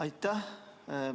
Aitäh!